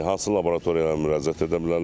Hansı laboratoriyalara müraciət edə bilərlər?